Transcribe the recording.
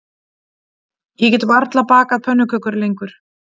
Ég get varla bakað pönnukökur lengur